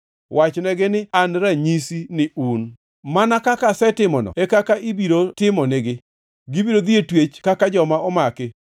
Wachnegi ni, ‘An ranyisi ni un!’ “Mana kaka asetimono e kaka ibiro timo nigi. Gibiro dhi e twech kaka joma omaki.